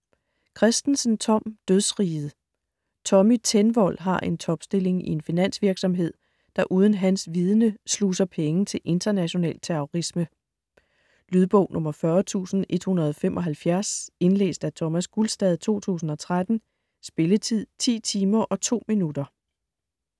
Kristensen, Tom: Dødsriget Tommy Tenvold har en topstilling i en finansvirksomhed, der uden hans viden sluser penge til international terrorisme. Lydbog 40175 Indlæst af Thomas Gulstad , 2013. Spilletid: 10 timer, 2 minutter.